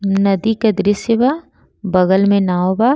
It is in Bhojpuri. नदी के दृश्य बा। बगल में नाव बा।